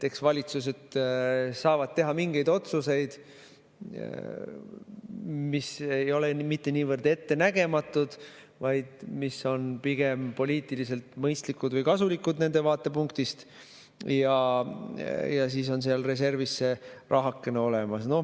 Valitsused saavad teha mingeid otsuseid, mis ei ole mitte niivõrd ettenägematud, vaid mis on pigem poliitiliselt mõistlikud või kasulikud nende vaatepunktist, ja siis on seal reservis see rahakene olemas.